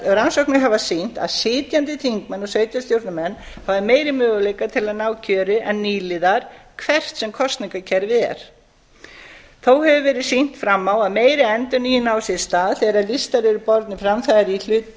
rannsóknir hafa sýnt að sitjandi þingmenn og sveitarstjórnarmenn hafi meiri möguleika til að ná kjöri en nýliðar hvert sem kosningakerfið er þó hefur verið sýnt fram á að meiri endurnýjun á sér stað þegar listar eru bornir fram það